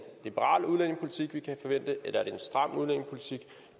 liberal udlændingepolitik vi kan forvente